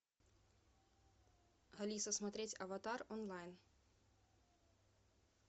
алиса смотреть аватар онлайн